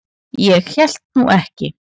Ég hélt nú ekki.